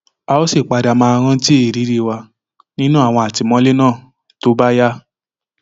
a ó sì padà máa rántí ìrírí wa nínú àwọn àtìmọlé náà tó bá yá